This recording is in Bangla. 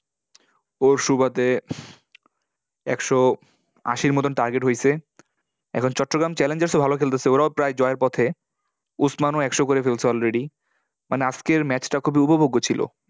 ওর সুবাদে একশো আশির মতোন target হয়েছে। এখন চট্টগ্রাম challengers ও ভালো খেলতেসে। ওরাও প্রায় জয়ের পথে। ওসমান ও একশো করে ফেলসে already মানে, আজকের match টা খুবই উপভোগ্য ছিল।